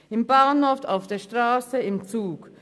im Bahnhof, auf der Strasse, im Zug.